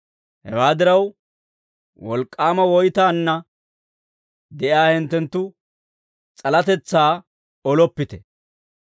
Hewaa diraw, wolk'k'aama woytana de'iyaa hinttenttu s'alatetsaa oloppite.